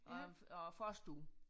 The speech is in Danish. Og og forstue